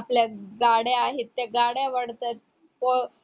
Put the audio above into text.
आपल्या अं गाड्या आहेत ते गाड्या वाढतात अं